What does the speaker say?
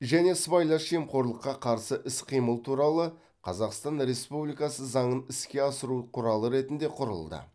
және сыбайлас жемқорлыққа қарсы іс қимыл туралы қазақстан республикасы заңын іске асыру құралы ретінде құрылды